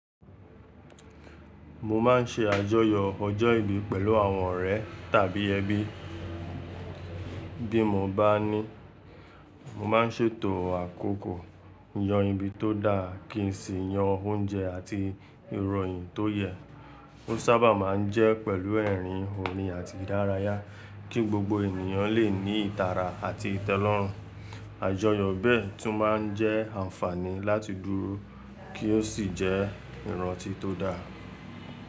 Mo ma n ṣe àjọyọ ọjọ́ ìbí pẹ̀lú àwọn ọ̀rẹ́ tàbí ẹbí. Bí mo bá ní, mo ma n ṣètò àkókò yan ibi tó dáa, kí n sì yan oúnjẹ àti ìrọ̀yìn tó yẹ. Ó sábà máa n jẹ́ pẹ̀lú ẹ̀rín, òrin àti ìdárayá, kí gbogbo ènìyàn lè ní ìtara àti ìtẹ́lọ́rùn. Àjọyọ̀ bẹ́ẹ̀ tún ma n jẹ́ àǹfààní láti dúró kí ó sì jẹ́ ìrántí tó da.